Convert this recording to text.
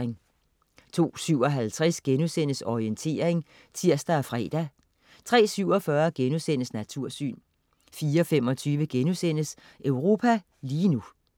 02.57 Orientering* (tirs og fre) 03.47 Natursyn* 04.25 Europa lige nu*